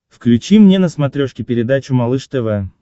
включи мне на смотрешке передачу малыш тв